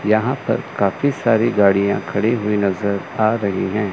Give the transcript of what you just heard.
यहां पर काफी सारी गाड़ियां खड़ी हुई नजर आ रही हैं।